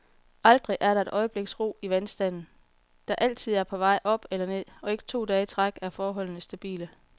Aldrig er der et øjebliks ro i vandstanden, der altid er på vej op eller ned, og ikke to dage i træk er forholdene stabile.